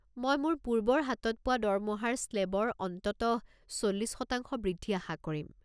মই মোৰ পূৰ্বৰ হাতত পোৱা দৰমহাৰ স্লে'বৰ অন্ততঃ চল্লিছ শতাংশ বৃদ্ধি আশা কৰিম।